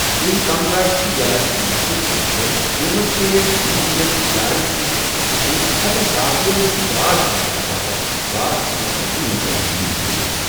یِم کم گاشِکہ یلاجِکۍ مٲہِر پیشور، یِمَو منٛز کٮ۪نٛہہ اَنٮ۪ن ہٕندٮ۪ن ادارن سٕتۍ وابسطہٕ چھِ، ہٮ۪کن باقین گاش بڑاونہٕ باپتھ گاش تہٕ وخھرگی منز رہنمٲیی کٔرِتھ ۔